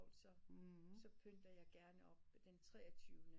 Så så pynter jeg gerne op den treogtyvende